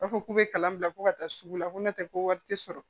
U b'a fɔ k'u bɛ kalan bila ko ka taa sugu la ko n'o tɛ ko wari tɛ sɔrɔ